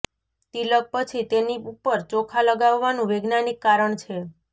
તિલક પછી તેની ઉપર ચોખા લગાવવાનું વૈજ્ઞાનિક કારણ છે